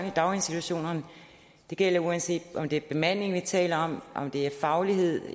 i daginstitutionerne det gælder uanset om det er bemandingen vi taler om om det er fagligheden